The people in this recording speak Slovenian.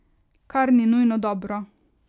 Kar ni nujno dobro.